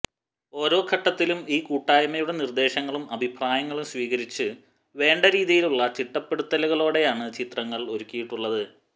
ഓരോ ഘട്ടത്തിലും ഈ കൂട്ടായ്മയുടെ നിർദ്ദേശങ്ങളും അഭിപ്രായങ്ങളും സ്വീകരിച്ച് വേണ്ട രീതിയിലുള്ള ചിട്ടപ്പെടുത്തലുകളോടെയാണ് ചിത്രങ്ങൾ ഒരുക്കിയിട്ടുള്ളത്